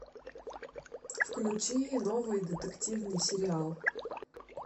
включи новый детективный сериал